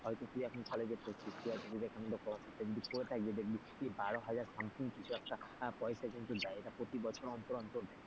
হয়তো তুই এখন college পড়ছিস তুই বিবেকানন্দ স্কলারশিপ entry করে থাকিস এটা নিশ্চই বারো হাজার something কিছু একটা পয়সা কিন্তু দেয় এটা প্রতিবছর অন্তর অন্তর দেয়,